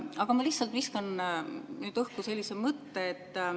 Aga ma lihtsalt viskan õhku mõtte.